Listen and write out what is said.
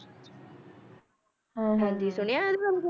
ਹਾਂ ਹਾਂਜੀ ਸੁਣਿਆ ਇਹਦੇ ਬਾਰੇ?